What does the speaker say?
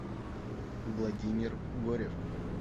владимир горев